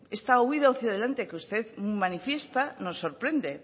esta huida hacia adelante que usted manifiesta nos sorprende